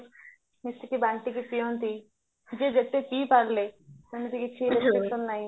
ମିଶିକି ବାଣ୍ଟିକି ପିଅନ୍ତି ଯିଏ ଯେତେ ପିଇପାରିଲେ ସେମିତି କିଛି ନାହି